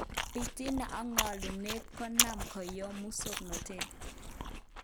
Bitina ak ngo'lunet konam koyom musoknotet.